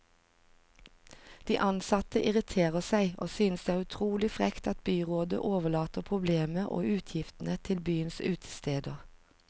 De ansatte irriterer seg, og synes det er utrolig frekt at byrådet overlater problemet og utgiftene til byens utesteder.